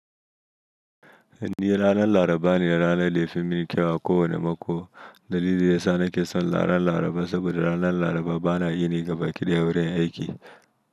Ni ranar Laraba ne ranar da ya fi min kyau ko wane mako. Dalili yasa nake son ranar Laraba saboda ranar Laraba bana yini gaba kiɗaya a wurin aiki.